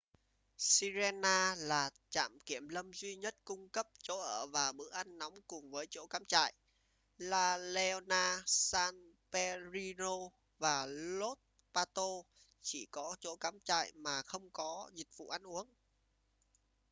sirena là trạm kiểm lâm duy nhất cung cấp chỗ ở và bữa ăn nóng cùng với chỗ cắm trại la leona san pedrillo và los patos chỉ có chỗ cắm trại mà không có dịch vụ ăn uống